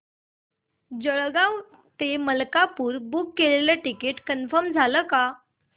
जळगाव ते मलकापुर बुक केलेलं ticket confirm झालं का